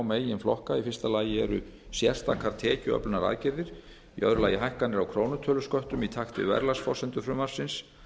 meginflokka í fyrsta lagi eru sérstakar tekjuöflunaraðgerðir í öðru lagi hækkanir á krónutölusköttum í takt við verðlagsforsendur frumvarpsins